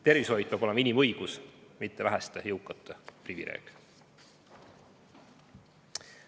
Tervishoid peab olema inimõigus, mitte väheste jõukate privileeg.